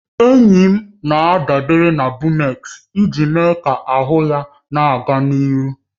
Enyi m na-adabere na Bumex iji mee ka ahụ ya na-aga n'ihu